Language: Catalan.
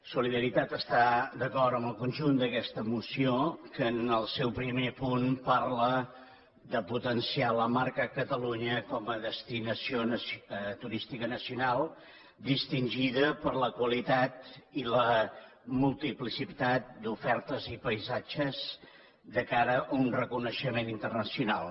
solidaritat està d’acord amb el conjunt d’aquesta moció que en el seu primer punt parla de potenciar la marca catalunya com a destinació turística nacional distingida per la qualitat i la multiplicitat d’ofertes i paisatges de cara a un reconeixement internacional